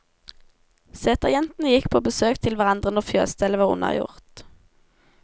Seterjentene gikk på besøk til hverandre når fjøsstellet var unnagjort.